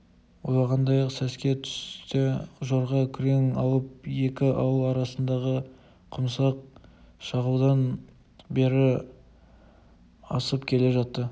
ойлағандай-ақ сәске түсте жорға күрең алып екі ауыл арасындағы құмсақ шағылдан бері асып келе жатты